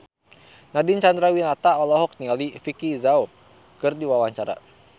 Nadine Chandrawinata olohok ningali Vicki Zao keur diwawancara